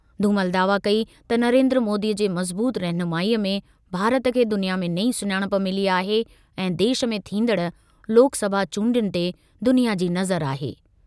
धूमल दावा कई त नरेन्द्र मोदीअ जे मज़बूत रहनुमाईअ में भारत खे दुनिया में नई सुञाणप मिली आहे ऐं देश में थींदड़ लोकसभा चूंडियुनि ते दुनिया जी नज़र आहे।